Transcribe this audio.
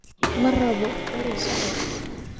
Marwalbo xore usoco.